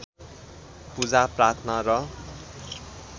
पूजा प्रार्थना र